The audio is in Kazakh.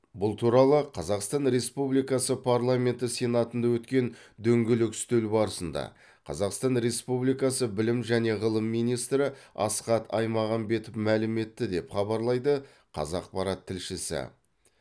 бұл туралы қазақстан республикасы парламенті сенатында өткен дөңгелек үстел барысында қазақстан республикасы білім және ғылым министрі асхат аймағамбетов мәлім етті деп хабарлайды қазақпарат тілшісі